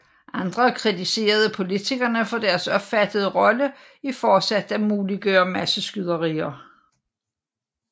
Andre kritiserede politikerne for deres opfattede rolle i fortsat at muliggøre masseskyderier